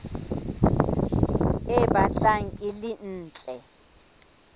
e batlang e le ntle